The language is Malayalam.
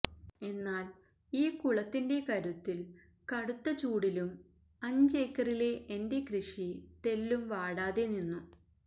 എന്നാൽ ഈ കുളത്തിന്റെ കരുത്തിൽ കടുത്ത ചൂടിലും അഞ്ചേക്കറിലെ എന്റെ കൃഷി തെല്ലും വാടാതെ നിന്നു